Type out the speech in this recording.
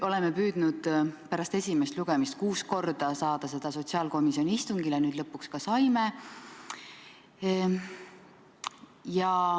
Oleme püüdnud pärast esimest lugemist kuus korda saada seda sotsiaalkomisjoni istungile, nüüd lõpuks ka saime.